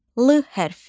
L hərfi.